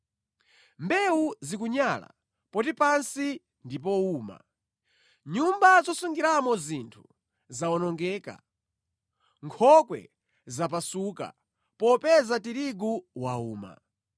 Mbewu zikunyala poti pansi ndi powuma. Nyumba zosungiramo zinthu zawonongeka; nkhokwe zapasuka popeza tirigu wauma.